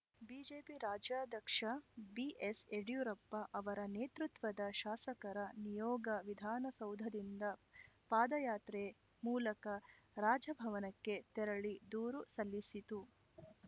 BJP ರಾಜ್ಯಾಧ್ಯಕ್ಷ ಬಿಎಸ್‌ಯಡಿಯೂರಪ್ಪ ಅವರ ನೇತೃತ್ವದ ಶಾಸಕರ ನಿಯೋಗ ವಿಧಾನಸೌಧದಿಂದ ಪಾದಯಾತ್ರೆ ಮೂಲಕ ರಾಜಭವನಕ್ಕೆ ತೆರಳಿ ದೂರು ಸಲ್ಲಿಸಿತು